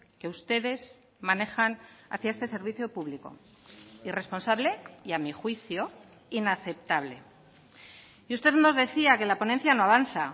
que ustedes manejan hacia este servicio público irresponsable y a mi juicio inaceptable y usted nos decía que la ponencia no avanza